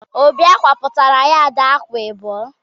Óbì ákwà pụtara yaadi ákwà abụọ.